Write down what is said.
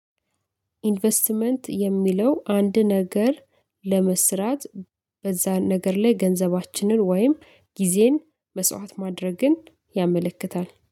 ኢንቨስትመንት የሚለው አንድ ነገር ለመስራት በዛን ነገር ላይ ገንዘባችንን ወይም ጊዜን መስዋት ማድረግን። ያመለክታል